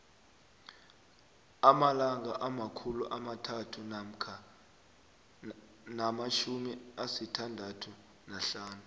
amalanga amakhulu amathathu namatjhumi asithandathu nahlanu